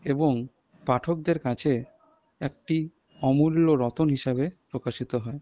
এবং পাঠকদের কাছে একটি অমূল্য রতন হিসেবে প্রকাশিত হয়।